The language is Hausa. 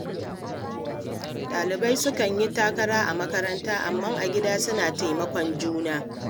Ɗalibai sukan yi takara a makaranta, amma a gida suna taimakon juna.